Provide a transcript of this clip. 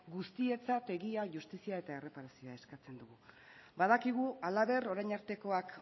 guztientzat egia justizia eta erreparazioa eskatzen ditugu badakigu halaber orain artekoak